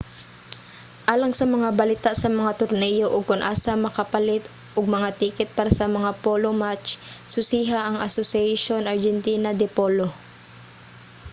alang sa mga balita sa mga torneyo ug kon asa makapalit og mga tiket para sa mga polo match susiha ang asociacion argentina de polo